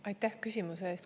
Aitäh küsimuse eest!